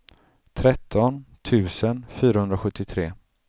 tretton tusen fyrahundrasjuttiotre